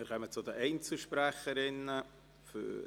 Wir kommen zu dem Einzelsprechenden.